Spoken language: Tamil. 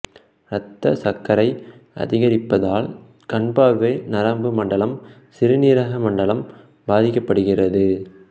இரத்த சர்க்கரை அதிகரிப்பதால் கண் பார்வை நரம்பு மண்டலம் சிறுநீரக மண்டலம் பாதிக்கப்படுகிறது